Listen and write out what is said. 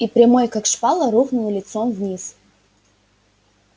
и прямой как шпала рухнул лицом вниз